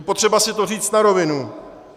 Je potřeba si to říci na rovinu.